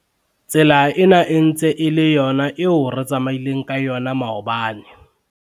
tsela ena e ntse e le yona eo re tsamaileng ka yona maobane